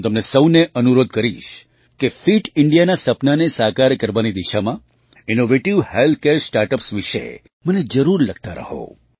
હું તમને સહુને અનુરોધ કરીશ કે ફિટ Indiaના સપનાને સાકાર કરવાની દિશામાં innovative health care start ups વિશે મને જરૂર લખતા રહો